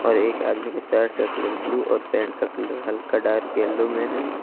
और एक आदमी के शर्ट का कलर ब्लू और पैंट का कलर हल्का डार्क येलो में है।